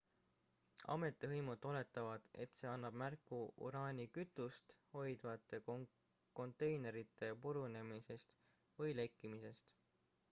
ametivõimud oletavad et see annab märku uraanikütust hoidvate konteinerite purunemisest või lekkimisest